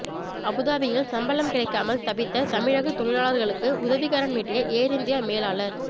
அபுதாபியில் சம்பளம் கிடைக்காமல் தவித்த தமிழக தொழிலாளர்களுக்கு உதவிக்கரம் நீட்டிய ஏர் இந்தியா மேலாளர்